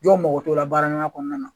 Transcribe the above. Jɔw mako to la baaraɲɔgɔnya kɔnɔna na.